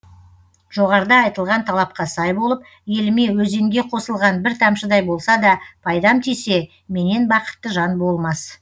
жоғарыда айтылған талапқа сай болып еліме өзенге қосылған бір тамшыдай болса да пайдам тисе менен бақытты жан болмас